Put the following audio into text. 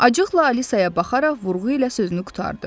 Acıqla Alisaya baxaraq vurğu ilə sözünü qurtardı.